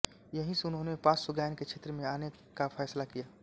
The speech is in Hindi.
यहीं से उन्होंने पार्श्वगायन के क्षेत्र में आने का फैसला किया